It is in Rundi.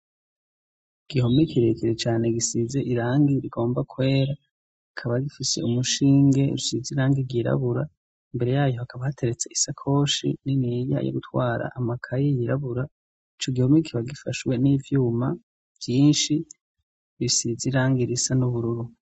igihome kirekere cyane gisize irangi rigomba kwera ikaba rifise umushinge rusize irangi yirabura mbere yayo hakaba hateretsa isakoshi n'iniya yo gutwara amakayi yirabura ico gihomekira gifashwe n'ivyuma byinshi bisize irangi irisa n'ubururu